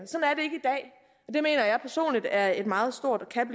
sådan er et meget stort og kan